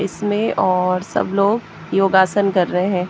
इसमें और सब लोग योगासन कर रहे हैं।